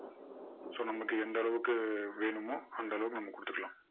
so நமக்கு எந்த அளவுக்கு வேணுமோ அந்த அளவுக்கு நம்ம கொடுத்துக்கலாம்.